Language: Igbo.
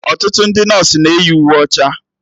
Ọtụtụ ndị nọsụ na-eyi uwe ọcha